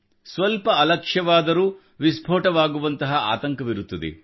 ಸ್ವಲ್ಪ ಅಲಕ್ಷವಾದರೂ ವಿಸ್ಪೋಟವಾಗುವಂತಹ ಆತಂಕವಿರುತ್ತದೆ